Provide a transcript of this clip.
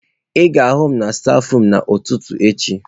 Ị ga-ahụ m n'stafurum n'ụtụtụ echi.